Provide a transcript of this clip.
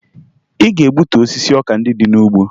Ị ga-egbutu osisi ọka ndị dị n'ugbo!